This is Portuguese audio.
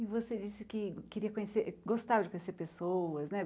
E você disse que queria conhecer... gostava de conhecer pessoas, né?